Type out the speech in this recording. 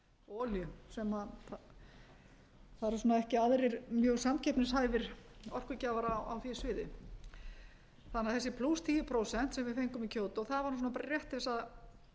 og olíu það eru svona ekki aðrir mjög samkeppnishæfir orkugjafar á því sviði þannig að þessi tíu prósent sem við fengum í kyoto það var nú bara svona rétt til þess að